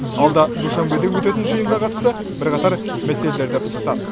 алда душанбеде өтетін жиынға қатысты бірқатар мәселелерді пысықтады